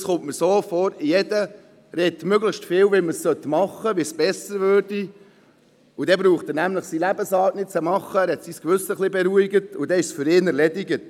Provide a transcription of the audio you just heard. Es kommt mir manchmal vor, als würde jeder möglichst viel darüber sprechen, wie man es machen müsste und wie es besser wäre, dann braucht er seine Lebensart nicht zu überdenken und hat sein Gewissen beruhigt, und für ihn ist es dann erledigt.